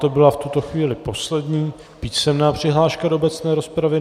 To byla v tuto chvíli poslední písemná přihláška do obecné rozpravy.